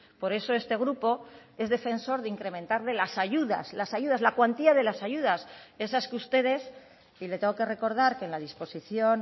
por eso este grupo es defensor de incrementar de las ayudas las ayudas la cuantía de las ayudas esas que ustedes y le tengo que recordar que en la disposición